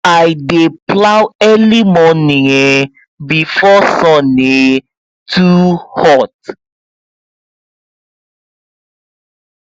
i dey plow early morning um before sun um too hot